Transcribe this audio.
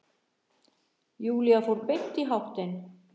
Júlía fór beint í háttinn.